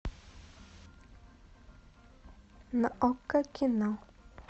на окко кино